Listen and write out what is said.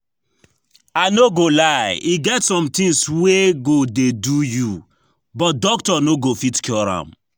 I no go lie, e get some things wey go dey do you but doctor no go fit cure am